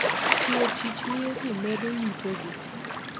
Tiyo tich miyo ji medo yuto gi.